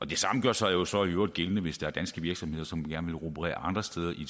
det samme gør sig jo så i øvrigt gældende hvis der er danske virksomheder som gerne vil operere andre steder i